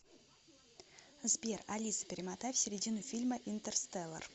сбер алиса перемотай в середину фильма интерстеллар